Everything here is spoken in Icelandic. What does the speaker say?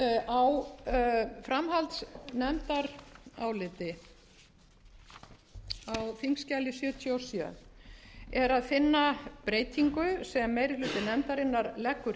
á framhaldnefndaráliti á þingskjali sjötíu og sjö er að finna breytingu sem meiri hluti nefndarinnar leggur